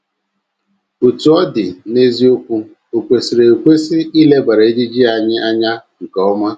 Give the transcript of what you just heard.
Otú ọ dị, n’eziokwu, o kwesịrị ekwesị ilebara ejiji anyị anya nke ọma.